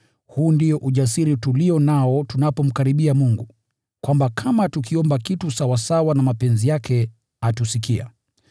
Huu ndio ujasiri tulio nao tunapomkaribia Mungu, kwamba kama tukiomba kitu sawasawa na mapenzi yake, atusikia.